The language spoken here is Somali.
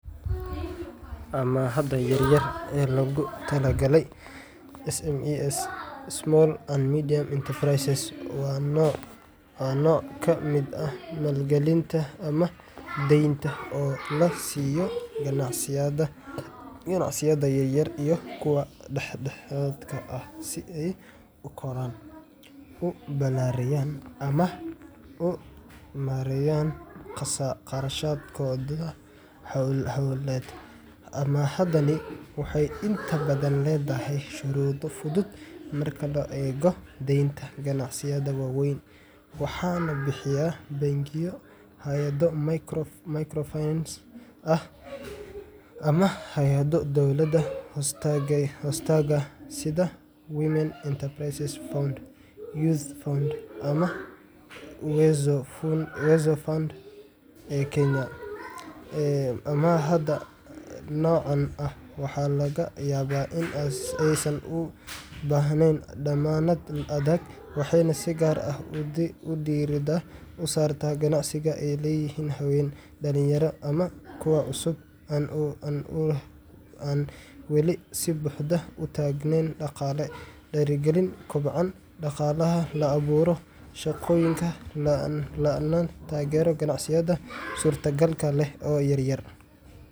Amaahda yar-yar ee loogu talagalay SMEs Small and Medium Enterprises waa nooc ka mid ah maalgelinta ama deynta oo la siiyo ganacsiyada yaryar iyo kuwa dhexdhexaadka ah si ay u koraan, u balaariyaan, ama u maareeyaan kharashaadkooda hawleed. Amaahdani waxay inta badan leedahay shuruudo fudud marka loo eego deynta ganacsiyada waaweyn, waxaana bixiya bangiyo, hay’ado microfinance ah, ama hay’ado dowladda hoostaga sida Women Enterprise Fund, Youth Fund, ama Uwezo Fund ee Kenya. Amaahda noocan ah waxaa laga yaabaa in aysan u baahnayn dammaanad adag, waxayna si gaar ah diiradda u saartaa ganacsiyada ay leeyihiin haween, dhalinyaro, ama kuwa cusub oo aan weli si buuxda u taagnaan dhaqaale ahaan. Ujeedada amaahdan ayaa ah in la dhiirrigeliyo kobaca dhaqaalaha, la abuuro shaqooyin, lana taageero ganacsiyada suurtagalka leh oo yar yar